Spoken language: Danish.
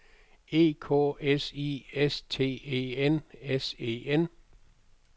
E K S I S T E N S E N